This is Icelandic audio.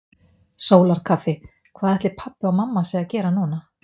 Sólarkaffi Hvað ætli pabbi og mamma séu að gera núna?